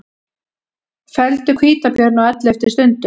Felldu hvítabjörn á elleftu stundu